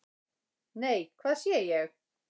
"""NEI, HVAÐ SÉ ÉG!"""